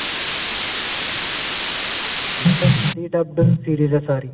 ਮੈਂ ਕਿਹਾ Hindi dubbed series ਏ ਸਾਰੀ